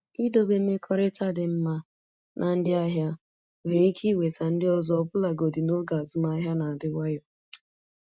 Idobe mmekọrịta dị mma na ndị ahịa nwere ike iweta ndị ọzọ ọbụlagodi n’oge azụmahịa na-adị nwayọ.